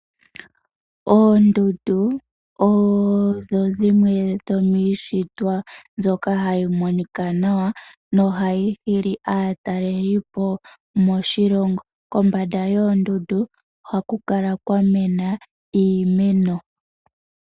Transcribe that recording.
Oondundu odho dhimwe dhomiishitwa mbyoka hayi monikwa nawa, noha yi hili aatalelipo moshilongo, kombanda yoondundu ohaku kala kwamena iimeno.